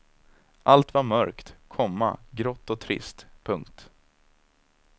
Allt var mörkt, komma grått och trist. punkt